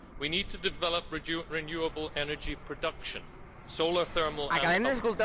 We need to develop renewable energy production solar thermal and other.